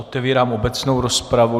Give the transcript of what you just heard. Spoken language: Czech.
Otevírám obecnou rozpravu.